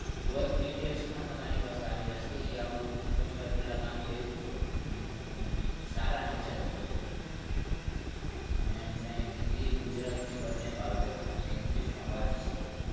work details પણ તમારી પાસે આવી જશે ઈ આવું ઘણી વાર પેલા કામ કર્યું છે અને એમનું સારા nature ના છે બહુ એમને hindi gujrati બને ફાવે છે અને english પણ વાંચી શકે છે